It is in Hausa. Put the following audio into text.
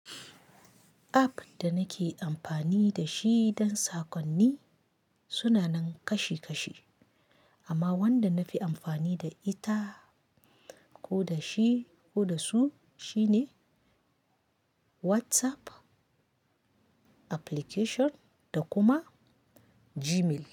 App da nake amfani da shi don sakonni suna nan kashi kashi, amma wanda na fi amfani da ita ko da shi ko da su shine WhatsApp application da kuma Gmail.